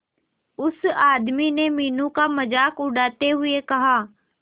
उस आदमी ने मीनू का मजाक उड़ाते हुए कहा